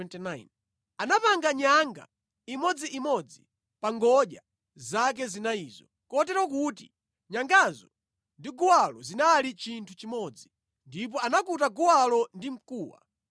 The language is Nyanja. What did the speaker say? Anapanga nyanga imodziimodzi pa ngodya zake zinayizo, kotero kuti nyangazo ndi guwalo zinali chinthu chimodzi, ndipo anakuta guwalo ndi mkuwa.